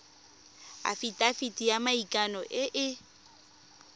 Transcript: afitafiti ya maikano e e